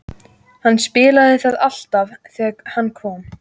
Hann spilaði það alltaf þegar hann kom.